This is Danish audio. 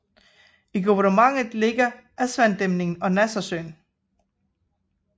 I guvernementet ligger Aswandæmningen og Nassersøen